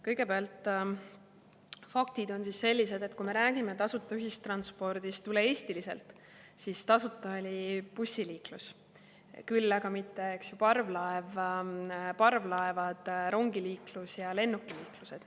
Kõigepealt faktid on sellised, et kui me räägime tasuta ühistranspordist üle-eestiliselt, siis tasuta oli bussiliiklus, aga mitte parvlaevad, rongid ja lennukid.